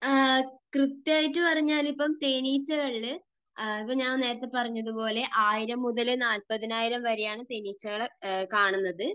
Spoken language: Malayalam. കൃത്യമായിട്ട് പറഞ്ഞാൽ ഇപ്പോൾ തേനീച്ചകളിൽ ഇപ്പോ ഞാൻ നേരത്തെ പറഞ്ഞതുപോലെ 1000 മുതൽ 40000 വരെയാണ് തേനീച്ചകൾ കാണുന്നത്.